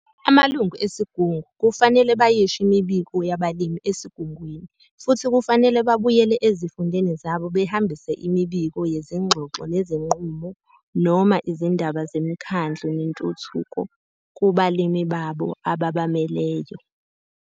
Amalungu esigungu kufanele bayisho imibiko yabalimi eSigungwini futhi kufanele babuyele ezifundeni zabo behambise imibiko yezingxoxo nezinqumo noma izindaba zemkhandlu nentuthuko kubalimi babo ababameleyo.